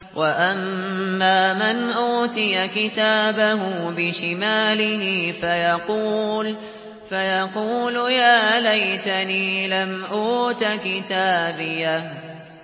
وَأَمَّا مَنْ أُوتِيَ كِتَابَهُ بِشِمَالِهِ فَيَقُولُ يَا لَيْتَنِي لَمْ أُوتَ كِتَابِيَهْ